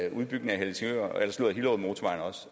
en udbygning